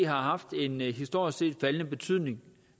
har haft en historisk set faldende betydning